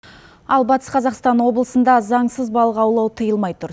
ал батыс қазақстан облысында заңсыз балық аулау тиылмай тұр